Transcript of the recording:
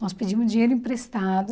Nós pedimos dinheiro emprestado.